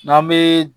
N'an bee